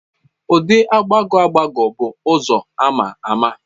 Ụdị agbagọ agbagọ bụ ụzọ a ma ama.